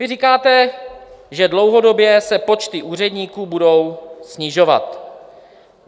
Vy říkáte, že dlouhodobě se počty úředníků budou snižovat.